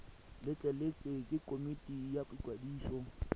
letleletswe ke komiti ya ikwadiso